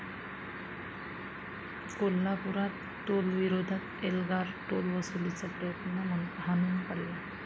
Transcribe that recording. कोल्हापुरात टोलविरोधात एल्गार, टोलवसुलीचा प्रयत्न हाणून पाडला